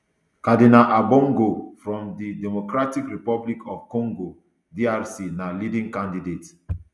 cardinal ambongo from di democratic republic of congo drc na leading candidate